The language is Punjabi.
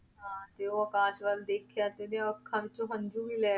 ਹਾਂ ਤੇ ਉਹ ਆਕਾਸ਼ ਵੱਲ ਦੇਖਿਆ ਤੇ ਉਹਦੀਆਂ ਅੱਖਾਂ ਵਿੱਚੋਂ ਹੰਝੂ ਵੀ ਲੈ,